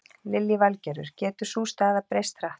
Lillý Valgerður: Getur sú staða breyst hratt?